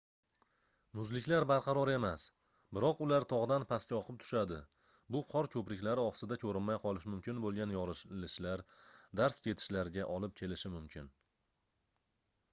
muzliklar barqaror emas biroq ular togʻdan pastga oqib tushadi bu qor koʻpriklari osida koʻrinmay qolishi mumkin boʻlgan yorilishlar darz ketishlarga olib kelishi mumkin